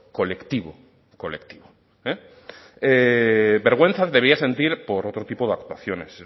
colectivo colectivo vergüenza debía sentir por otro tipo de actuaciones